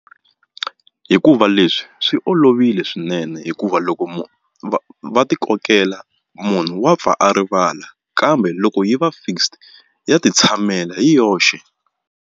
Hikuva leswi swi olovile swinene hikuva loko va va ti kokela munhu wa pfa a rivala kambe loko yi va fixed ya ti tshamela hi yoxe.